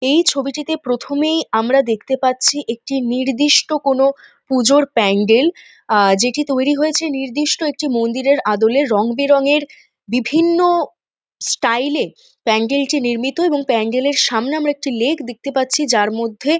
এই ছবিটিতে প্রথমেই আমরা দেখতে পাচ্ছি একটি নির্দিষ্ট কোনো পুজোর প্যান্ডেল আ যেটি তৈরি হয়েছে নির্দিষ্ট একটি মন্দিরের আদলে রং বেরঙের বিভিন্ন স্টাইল -এ প্যান্ডেল -টি নির্মিত এবং প্যান্ডেল -এর সামনে আমরা একটি লেক দেখতে পাচ্ছি যার মধ্যে--